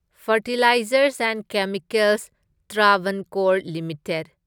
fertilisers and chemicals Travancore limited